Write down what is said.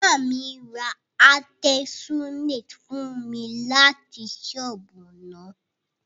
Maami ra artesunate fun mi lati soobu na.